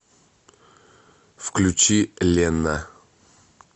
включи ленна